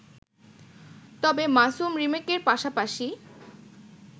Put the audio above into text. তবে মাসুম রিমেকের পাশাপাশি